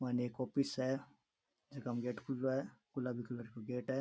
मायने एक ऑफिस है जका में गेट खुलो है गुलाबी कलर काे गेट है।